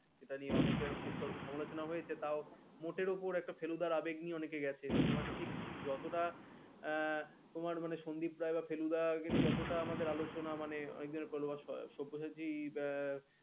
এটা নিয়ে অনেকে অনেক সমালোচনা হয়েছে তা মতের ওপর একটা ফেলুদা আবেগ নিয়ে অনেকে গেছে Cinema ঠিক যতটা এ এ সন্দীপ রায় বা ফেলুদা যতটা আমাদের আলোচনা মনে অনেক দিনের সব্যসাচী বাই